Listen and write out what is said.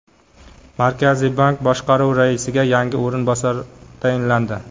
Markaziy bank boshqaruvi raisiga yangi o‘rinbosar tayinlandi.